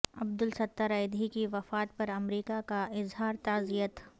عبدالستار ایدھی کی وفات پر امریکہ کا اظہار تعزیت